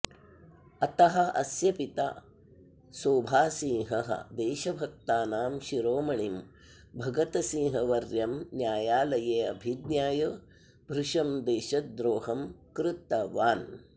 अतः अस्य पिता सोभासिंहः देशभक्तानां शिरोमणिं भगतसिंहवर्यं न्यायालये अभिज्ञाय भृशं देशद्रोहं कृतवान्